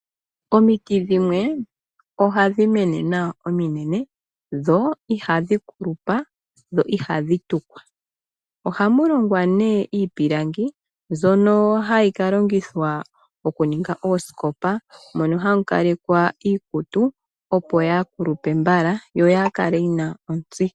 Omiiti dhimwe ohadhi mene nawa ominene dho ihadhi kulupa dho ihadhi tukwa, ohamu longwa ne iipilangi, mbyoka hayi ka longithwa okuninga oosikopa moka hamu kalekwa iikutu opo yaa kulupe mbala yo yaa kale yi na ontsi.